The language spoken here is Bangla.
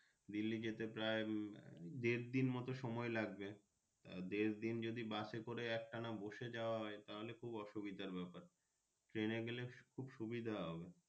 দিল্লি যেতে প্রায় দেড় দিন মতো সময় লাগবে দেড় দিন যদি Bus করে একটানা বসে যাওয়া হয় তাহলে খুব অসুবিধা হবে Train এ গেলে খুব সুবিধা হবে।